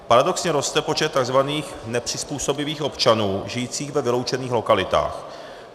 Paradoxně roste počet tzv. nepřizpůsobivých občanů žijících ve vyloučených lokalitách.